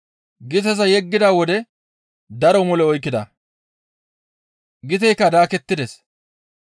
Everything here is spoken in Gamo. Giteza yeggida wode daro mole oykkida. Giteykka daakettides.